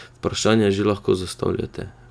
Vprašanja že lahko zastavljate!